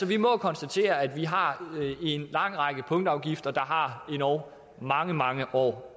vi må konstatere at vi har en lang række punktafgifter der har endog mange mange år